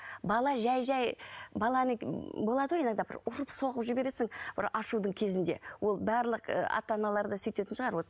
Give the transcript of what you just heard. бала жай жай баланың болады ғой иногда ұрып соғып жібересің бір ашудың кезінде ол барлық і ата аналарда сөйтетін шығар вот